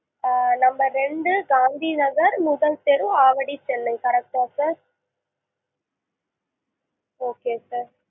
ஆ number ரெண்டு, காந்தி நகர், முதல் தெரு, ஆவடி, சென்னை correct டா sir okay sir